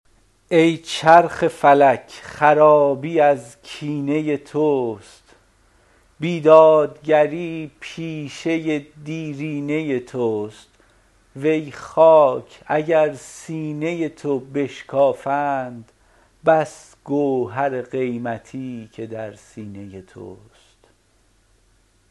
ای چرخ فلک خرابی از کینه توست بیدادگری پیشه دیرینه توست وی خاک اگر سینه تو بشکافند بس گوهر قیمتی که در سینه توست